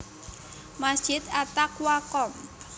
Masjid At Taqwa Komp